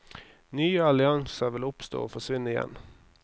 Nye allianser vil oppstå og forsvinne igjen.